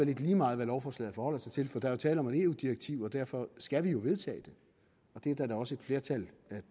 lidt lige meget hvad lovforslaget forholder sig til for der er tale om et eu direktiv og derfor skal vi jo vedtage det det er der også et flertal